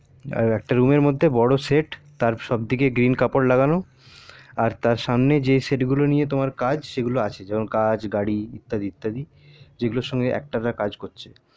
একটা room এর মধ্যে বড়ো set তার দিকে green কাপড় লাগানো আর তার সামনে যে set গুলো নিয়ে তোমার কাজ সেই গুলো আছে যেমন কাছ গাড়ি ইত্যাদি ইত্যাদি চার যেগুলো সঙ্গে একটানা কাজ করছে